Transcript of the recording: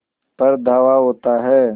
पर धावा होता है